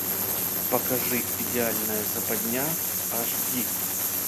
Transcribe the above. покажи идеальная западня аш ди